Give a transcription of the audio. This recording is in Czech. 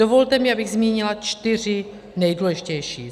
Dovolte mi, abych zmínila čtyři nejdůležitější: